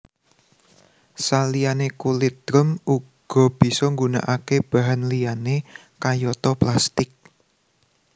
Saliyane kulit drum uga bisa nggunakake bahan liyane kayata plastik